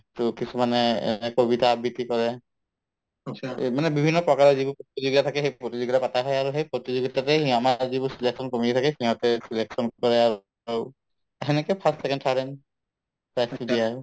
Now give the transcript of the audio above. to কিছুমানে কবিতা আবৃতি কৰে এই মানে বিভিন্ন প্ৰকাৰৰ যিবোৰ প্ৰতিযোগীতা থাকে সেই প্ৰতিযোগীতা পাতা হয় আৰু সেই প্ৰতিযোগীতাতে সেই আমাৰ যিবোৰ selection committee থাকে সিহঁতে selection কৰে আৰু আৰু সেনেকে first, second, third prize দিয়া হয়